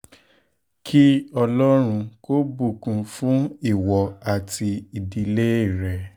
kí ọlọ́run ọlọ́run kò bùkún fún ìwọ um àti ìdílé rẹ